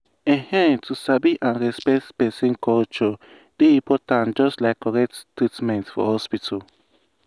ehn to sabi and respect person culture dey important just like correct treatment for hospital.